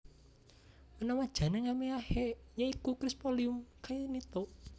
Menawa jeneng elmiahe ya iku Chrysophyllum cainito